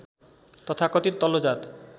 तथाकथित तल्लो जात